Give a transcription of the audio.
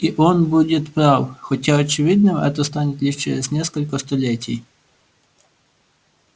и он будет прав хотя очевидным это станет лишь через несколько столетий